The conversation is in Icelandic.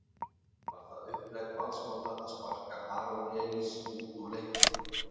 Var það upplegg Valsmanna að sparka Aron Elís út úr leiknum?